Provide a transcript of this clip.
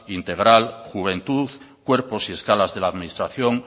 integral juventud cuerpos y escalas de la administración